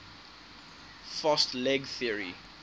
fast leg theory